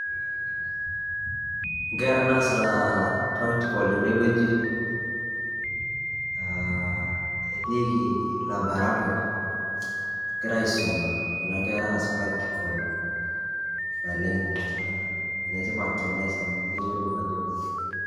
nkera naasita practical tenewueji aa etikii aa laboratory egira aisuma kuna kerra aas practical naleng ene tipat teneas amu keyiolou aj,,,